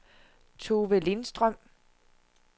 Tove Lindstrøm